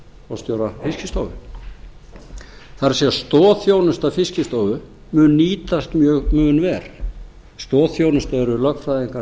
forstjóra fiskistofu það er að stoðþjónusta fiskistofu mun nýtast mun verr stoðþjónusta eru lögfræðingar